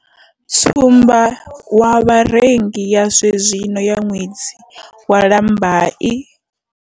Tsumbamutengo wa vharengi ya zwenezwino ya ṅwedzi wa Lambai.